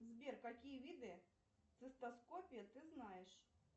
сбер какие виды состоскопия ты знаешь